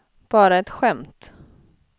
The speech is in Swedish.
bara ett skämt